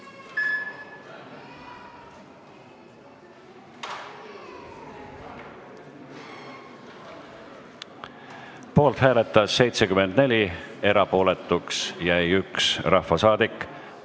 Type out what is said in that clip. Hääletustulemused Poolt hääletas 74, erapooletuks jäi 1 rahvasaadik.